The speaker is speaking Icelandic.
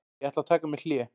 Ég ætla að taka mér hlé.